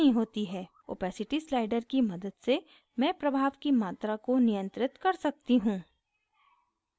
opacity slider की मदद से मैं प्रभाव की मात्रा को नियंत्रित कर सकती हूँ